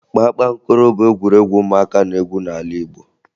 Kpakpankoro bụ egwuregwu ụmụaka na-egwu n'ala Igbo